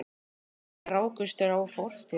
Kannski rákust þar á fortíð hennar og nútíð.